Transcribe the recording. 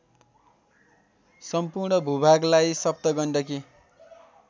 सम्पूर्ण भूभागलाई सप्तगण्डकी